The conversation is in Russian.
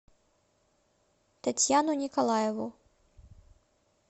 татьяну николаеву